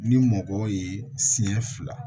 Ni mɔgɔ ye siɲɛ fila